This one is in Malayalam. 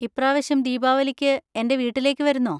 ഇപ്പ്രാവശ്യം ദീപാവലിയ്ക്ക് എൻ്റെ വീട്ടിലേക്ക് വരുന്നോ?